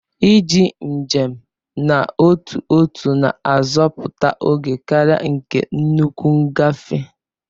Iji njem n'otu ọtu na-azoputa ógè karia nke nnukwu ngafe.